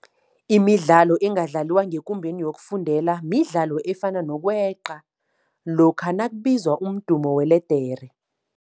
Imidlalo engadlaliwa ngekumbeni yokufundela midlalo efana nokweqa lokha nakubizwa umdumo weledere.